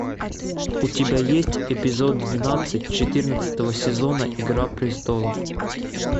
у тебя есть эпизод двенадцать четырнадцатого сезона игра престолов